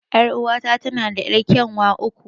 Er'uwa ta tana da yar'kyanwa uku.